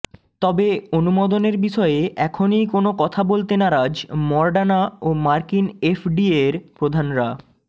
তবে অনুমোদনের বিষয়ে এখনই কোনও কথা বলতে নারাজ মডার্না ও মার্কিন এফডিএর প্রধানরা